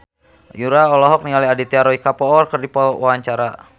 Yura olohok ningali Aditya Roy Kapoor keur diwawancara